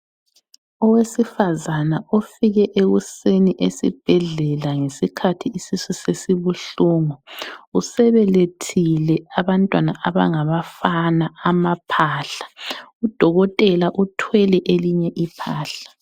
Owesifazane ofike ekuseni esibhedlela ngesikhathi isisu sesibuhlungu. Usebelethile abantwana abangabafana, amaphahla. Udokotela uthwele elinye iphahla.